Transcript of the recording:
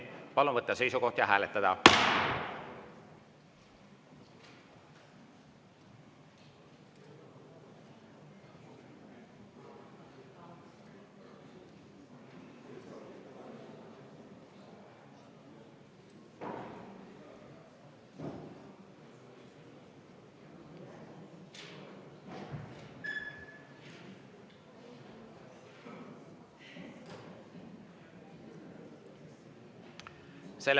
Palun võtta seisukoht ja hääletada!